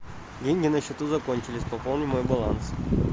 деньги на счету закончились пополни мой баланс